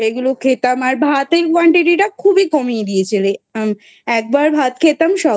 এগুলো খেতাম আর ভাতের Quantity টা খুবই কমিয়ে দিয়েছে রে একবার ভাত খেতাম